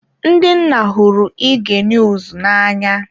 Ndị nna hụrụ ige niuz na anya.